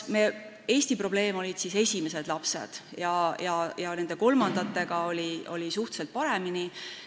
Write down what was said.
Eesti probleem on siis esimesed lapsed, kolmandate lastega oli asi suhteliselt paremini.